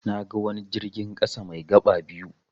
Naga wani jirgin ƙasa mai gaba biyu.